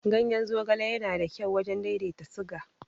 Ganyen zogale yana da kyau wajen daidaita siga.